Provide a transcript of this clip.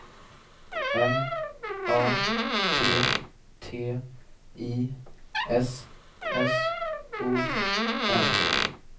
M A T T I S S O N